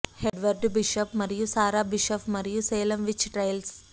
Edward Bishop మరియు Sarah Bishop మరియు Salem witch trials